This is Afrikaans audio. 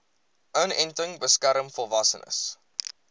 inenting beskerm volwassenes